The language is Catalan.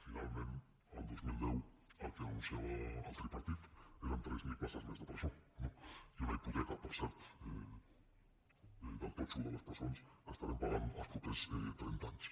finalment el dos mil deu el que anunciava el tripartit eren tres mil places més de presó i una hipoteca per cert del totxo de les presons que estarem pagant els propers trenta anys